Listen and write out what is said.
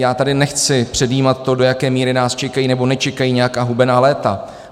Já tady nechci předjímat to, do jaké míry nás čekají nebo nečekají nějaká hubená léta.